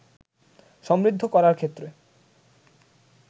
সমৃদ্ধ করার ক্ষেত্রে